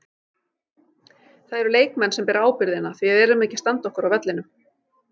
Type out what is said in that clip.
Það eru leikmenn sem bera ábyrgðina því við erum ekki að standa okkur á vellinum.